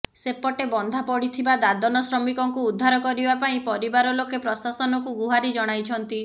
ସେପଟେ ବନ୍ଧା ପଡିଥିବା ଦାଦନ ଶ୍ରମିକଙ୍କୁ ଉଦ୍ଧାର କରିବା ପାଇଁ ପରିବାର ଲୋକେ ପ୍ରଶାସନକୁ ଗୁହାରି ଜଣାଇଛନ୍ତି